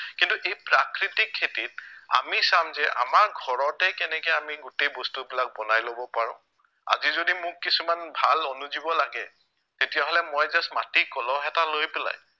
কিন্তু এই প্ৰাকৃতিক খেতিত আমি চাম যে আমাৰ ঘৰতেই কেনেকে আমি গোটেই বস্তুবিলাক বনাই লব পাৰো, আজি যদি মোক কিছুমান ভাল অনুজীৱ লাগে তেতিয়াহলে মই just মাটিৰ কলহ এটা লৈ পেলাই